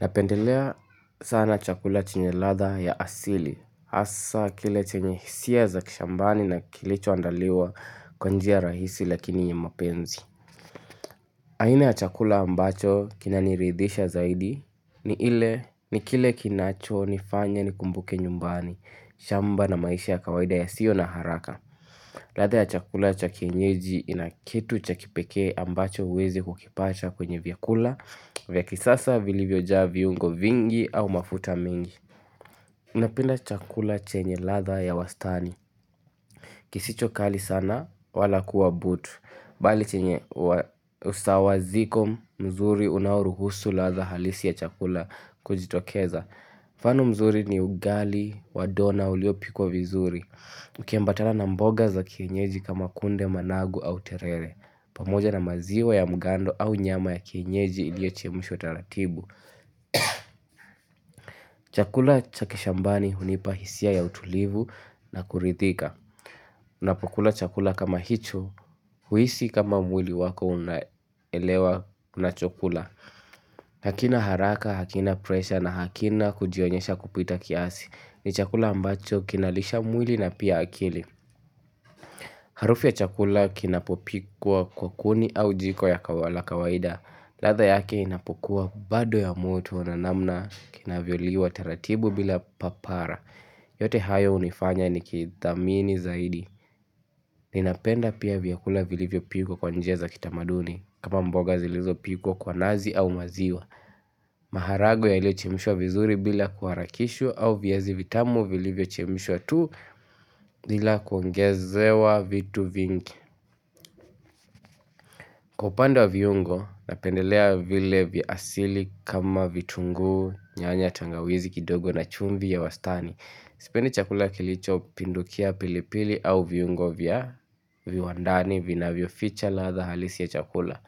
Napendelea sana chakula chenye ladhaa ya asili, hasa kile chenye hisia za kishambani na kilicho andaliwa kwa njia rahisi lakini yenye mapenzi. Aina ya chakula ambacho kina niridhisha zaidi ni ile ni kile kinacho nifanya ni kumbuke nyumbani, shamba na maisha ya kawaida ya sio na haraka. Ladhaa ya chakula cha kienyeji ina kitu cha kipekee ambacho huwezi kukipata kwenye vyakula Vyakisasa vilivyojaa viungo vingi au mafuta mingi Unapenda chakula chenye ladhaa ya wastani kisicho kali sana wala kuwa butu Bali chenye usawa ziko mzuri unaoruhusu ladhaa halisi ya chakula kujitokeza mfano mzuri ni ugali wa dona uliopikwa vizuri Ukiambatana na mboga za kienyeji kama kunde managu au terere pamoja na maziwa ya mgando au nyama ya kienyeji iliyochemushwa taratibu Chakula cha kishambani hunipa hisia ya utulivu na kurithika Unapokula chakula kama hicho huhisi kama mwili wako unaelewa unachokula hakina haraka, hakina presha na hakina kujionyesha kupita kiasi ni chakula ambacho kinalisha mwili na pia akili Harufu ya chakula kinapopikwa kwa kuni au jiko ya la kawaida. Ladhaa yake inapokuwa bado ya moto na namna kinavyoliwa taratibu bila papara. Yote hayo hunifanya nikithamini zaidi. Ninapenda pia vyakula vilivyo pikwa kwa njia za kitamaduni. Kama mboga zilizopikwa kwa nazi au maziwa. Maharagwe yaliyochemshwa vizuri bila kuharakishwa au viazi vitamu vilivyochemshwa tu bila kuongezewa vitu vingi. Kwa upande wa viungo napendelea vile vya asili kama vitunguu nyanya tangawizi kidogo na chumvi ya wastani Sipendi chakula kilicho pindukia pilipili au viungo vya viwandani vina vinavyoficha ladha halisi ya chakula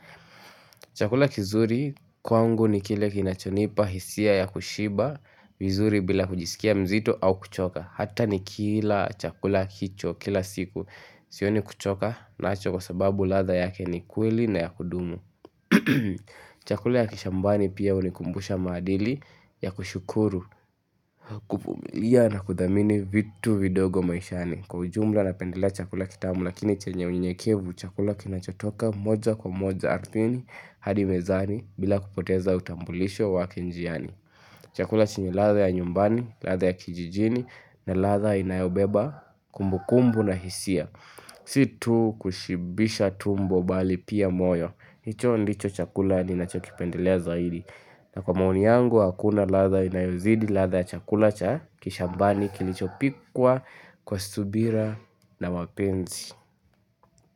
Chakula kizuri kwangu ni kile kinachonipa hisia ya kushiba vizuri bila kujisikia mzito au kuchoka Hata ni kila chakula kicho kila siku Sioni kuchoka nacho kwa sababu ladha yake ni kweli na ya kudumu Chakula ya kishambani pia hunikumbusha maadili ya kushukuru kuvumilia na kudhamini vitu vidogo maishani Kwa ujumla napendelea chakula kitamu Lakini chenye unyenyekevu chakula kinachotoka moja kwa moja ardhini hadi mezani bila kupoteza utambulisho wake njiani Chakula chenye ladha ya nyumbani, ladha ya kijijini na ladha inayobeba kumbu kumbu na hisia Si tu kushibisha tumbo bali pia moyo hicho ndicho chakula ninachokipendelea zaidi na kwa maoni yangu hakuna ladha inayozidi ladha chakula cha Kishambani kilichopikwa kwa subira na wapenzi.